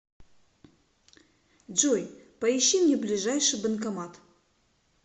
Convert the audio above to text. джой поищи мне ближайший банкомат